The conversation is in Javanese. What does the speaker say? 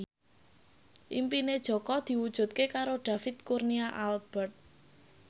impine Jaka diwujudke karo David Kurnia Albert